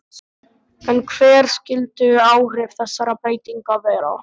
En hver skyldu áhrif þessara breytinga vera?